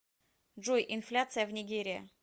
джой инфляция в нигерия